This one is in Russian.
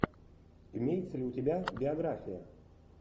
имеется ли у тебя биография